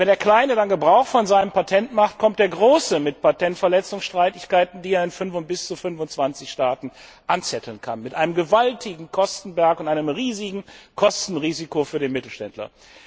Und wenn der Kleine dann Gebrauch von seinem Patent macht, kommt der Große mit Patentverletzungsstreitigkeiten, die er in bis zu 25 Staaten anzetteln kann mit einem gewaltigen Kostenberg und einem riesigen Kostenrisiko für den Mittelständler.